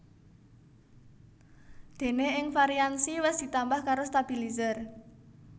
Déné ing varian Xi wis ditambah karo stabilizer